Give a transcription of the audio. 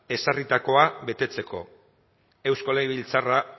ezarritakoa betetzeko eusko legebiltzarra